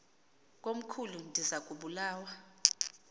komkhulu ndiza kubulawa